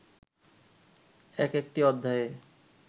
এক একটি অধ্যায়ে